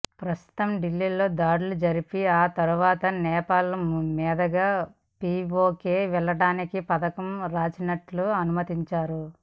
ప్రస్తుతం ఢిల్లీలో దాడులు జరిపి ఆ తర్వాత నేపాల్ మీదుగా పీఓకే వెళ్లడానికి పథకం రచించినట్లు అనుమానిస్తున్నారు